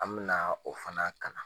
An bɛna o fana kalan